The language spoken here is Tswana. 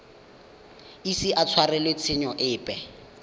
ise a tshwarelwe tshenyo epe